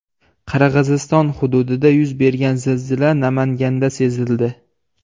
Qirg‘iziston hududida yuz bergan zilzila Namanganda sezildi .